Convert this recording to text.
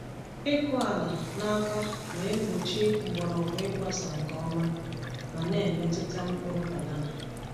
Ịkụ ala n’aka na-egbochi mgbọrọgwụ ịgbasa nke ọma ma na-emetụta mkpụrụ banana.